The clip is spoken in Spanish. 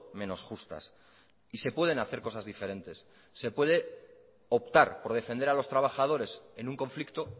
menos justas y se pueden hacer cosas diferentes se puede optar por defender a los trabajadores en un conflicto